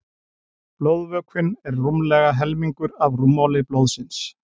Blóðvökvinn er rúmlega helmingur af rúmmáli blóðsins.